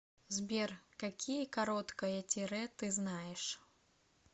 сбер какие короткое тире ты знаешь